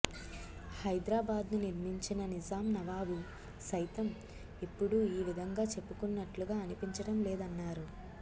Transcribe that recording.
హైదరాబాద్ను నిర్మించిన నిజాం నవాబు సైతం ఎప్పుడూ ఈ విధంగా చెప్పుకున్నట్లుగా అనిపించడం లేదన్నారు